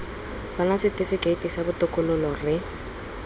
bona setifikeiti sa botokololo re